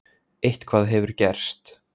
Eitthvað hefur gerst.